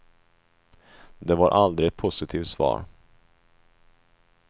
Det var aldrig ett positivt svar.